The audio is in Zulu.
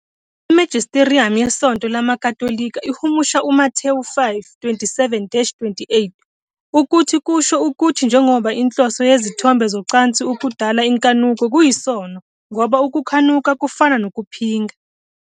Imagisterium yeSonto LamaKatolika ihumusha uMathewu 5- 27-28 ukuthi kusho ukuthi njengoba inhloso yezithombe zocansi ukudala inkanuko, kuyisono, ngoba ukukhanuka kufana nokuphinga.